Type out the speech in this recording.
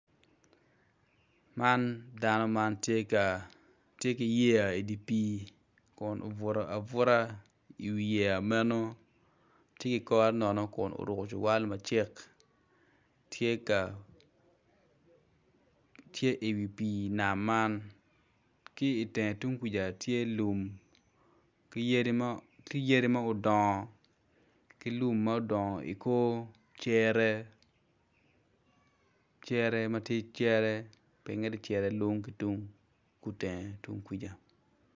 Man dano man tye ki yeya i dye pii kun obuto abuta i yeya meno tye ki kore nono kun oruko cuwal macek tye ka i wi pii nam man ki i teng tye lum tye yadi madong ki lum ma odongo i cere i ngete tung kuca.